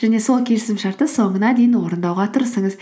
және сол келісімшартты соңына дейін орындауға тырысыңыз